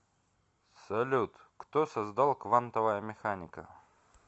салют кто создал квантовая механика